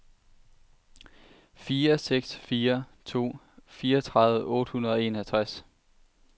fire seks fire to fireogtredive otte hundrede og enogtres